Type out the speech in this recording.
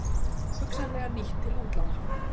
Hugsanlega nýtt til útlána